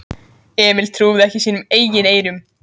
Emil trúði ekki sínum eigin eyrum.